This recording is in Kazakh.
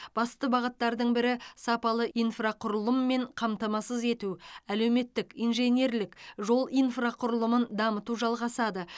басты бағыттардың бірі сапалы инфрақұрылыммен қамтамасыз ету әлеуметтік инженерлік жол инфрақұрылымын дамыту жалғасады